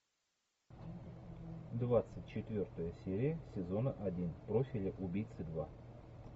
двадцать четвертая серия сезона один профиль убийцы два